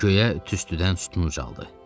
Göyə tüstüdən sütun ucaldılar.